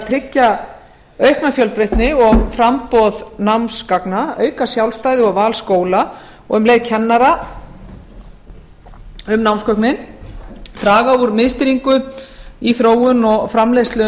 tryggja aukna fjölbreytni og framboð námsgagna að auka sjálfstæði og val skóla og og um leið kennara um námsgögnin að draga úr miðstýringu í þróun og framleiðslu